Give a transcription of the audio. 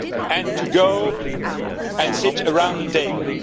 and to go and sit around the table.